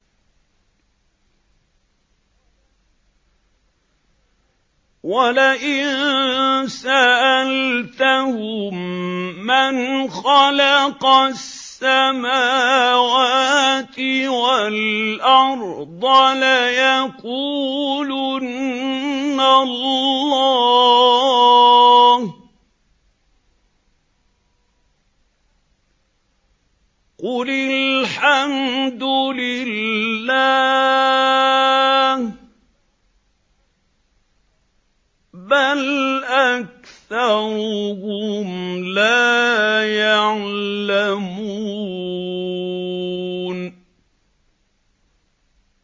وَلَئِن سَأَلْتَهُم مَّنْ خَلَقَ السَّمَاوَاتِ وَالْأَرْضَ لَيَقُولُنَّ اللَّهُ ۚ قُلِ الْحَمْدُ لِلَّهِ ۚ بَلْ أَكْثَرُهُمْ لَا يَعْلَمُونَ